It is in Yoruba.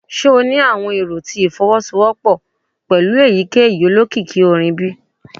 Ṣe o ni awọn ero ti ifowosowopo pẹlu eyikeyi olokiki orin bi?